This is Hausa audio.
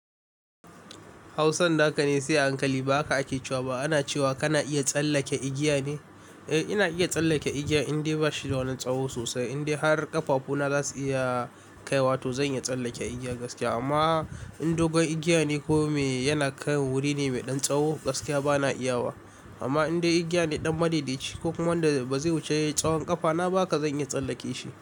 Hausan naka ne sai a hankali ba haka ake cewa ba ana cewa kana iya tsallake igiya ne? Eh ina iya tsallake igiya in dai bashi da wani tsawo sosai. In dai har ƙafafuna zasu iya kaiwa to zan iya tsallake igiyar gaskiya. Amma in dogon igiya ne ko me yana kan wuri ne mai ɗan tsawo gaskiya bana iya wa. Amma in dai igiya ne ɗan madaidaici ko kuma wanda bazai wuce tsawon ƙafana ba haka zan iya tsallake shi.